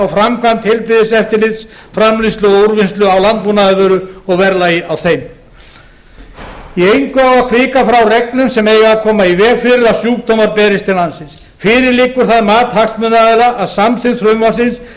framkvæmd heilbrigðiseftirlits framleiðslu og úrvinnslu á landbúnaðarvöru og verðlagi á þeim í engu á að hvika frá reglum sem eiga að koma í veg fyrir að sjúkdómar berist til landsins fyrir liggur það mat hagsmunaaðila að samþykkt frumvarpsins muni